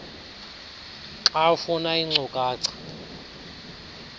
xa ufuna iinkcukacha